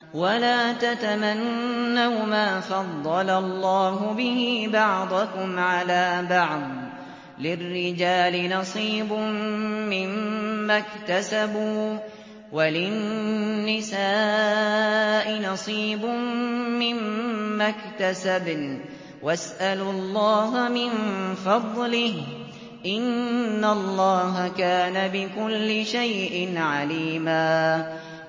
وَلَا تَتَمَنَّوْا مَا فَضَّلَ اللَّهُ بِهِ بَعْضَكُمْ عَلَىٰ بَعْضٍ ۚ لِّلرِّجَالِ نَصِيبٌ مِّمَّا اكْتَسَبُوا ۖ وَلِلنِّسَاءِ نَصِيبٌ مِّمَّا اكْتَسَبْنَ ۚ وَاسْأَلُوا اللَّهَ مِن فَضْلِهِ ۗ إِنَّ اللَّهَ كَانَ بِكُلِّ شَيْءٍ عَلِيمًا